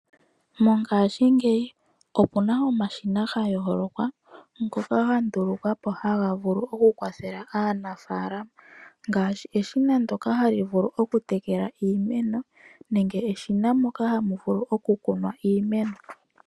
Mongashingeyi okuna omashina ga yooloka ngoka ga ndulukwapo oku kwathela aanafalama. Ongaashi omashina ngono gokutekela iimeno nenge lyokukuna iimeno.